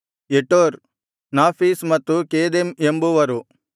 Jetur Naphish ಮತ್ತು Kedem ಎಂಬುವರು